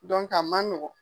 a man nɔgɔn.